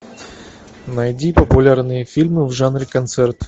найди популярные фильмы в жанре концерт